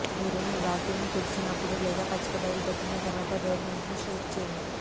మీరు మీ వాకిలిని తుడిచిపెట్టినప్పుడు లేదా పచ్చిక బయలు పెట్టిన తర్వాత డోర్మాట్స్ను షేక్ చేయండి